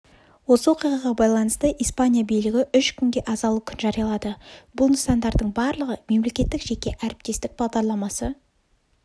осы оқиғаға байланысты испания билігі үш күнге азалы күн жариялады бұл нысандардың барлығы мемлекеттік-жеке әріптестік бағдарламасы